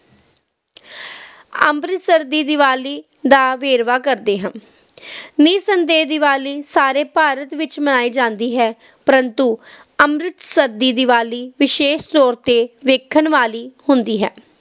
ਅੰਮ੍ਰਿਤਸਰ ਦੀ ਦੀਵਾਲੀ ਦਾ ਵੇਰਵਾ ਕਰਦੇ ਹਾਂ ਨਿਸੰਦੇਹ ਦੀਵਾਲੀ ਸਾਰੇ ਭਾਰਤ ਵਿਚ ਮਨਾਈ ਜਾਂਦੀ ਹੈ ਪ੍ਰੰਤੂ ਅੰਮ੍ਰਿਤਸਰ ਦੀ ਦੀਵਾਲੀ ਵਿਸ਼ੇਸ਼ ਤੌਰ ਤੇ ਵੇਖਣ ਵਾਲੀ ਹੁੰਦੀ ਹੈ